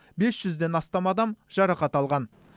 бес жүзден астам адам жарақат алған